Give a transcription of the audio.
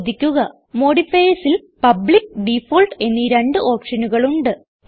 ശ്രദ്ധിക്കുക modifiersൽ public default എന്നീ രണ്ട് ഓപ്ഷനുകൾ ഉണ്ട്